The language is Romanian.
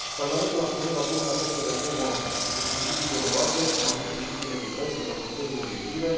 Parlamentul a pornit în această reformă cu principii generoase, cum ar fi principiul echității sau criteriile obiective.